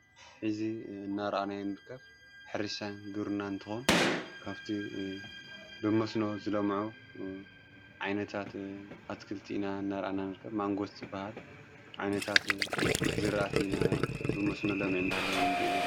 ሕዚ እናርኣናይ ንርከብ ሕሪሻን ግሩና እንተሆን ከብቲ ብመስኖ ዝለምዑ ዓይነታት ኣትክልቲ ኢና እናርአናንርከብ ማንጐሥት በሃል ዓይነታት ዝርአት ኢና ብመስኖ ለሚዕንዳሃለ ንሪኢዘለ።